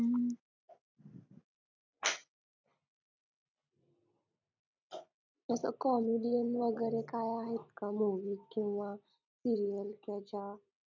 तसं comedian वगैरे काय आहेत का movies किंवा serial कि ज्या